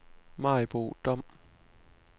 Maribo Dom